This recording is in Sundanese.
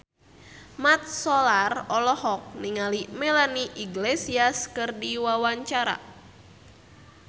Mat Solar olohok ningali Melanie Iglesias keur diwawancara